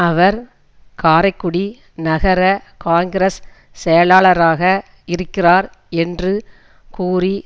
அவர் காரைக்குடி நகர காங்கிரஸ் செயலாளராக இருக்கிறார் என்று கூறி